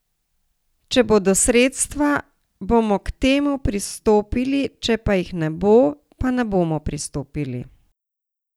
Če bodo sredstva, bomo k temu pristopili, če pa jih ne bo, pa ne bomo pristopili.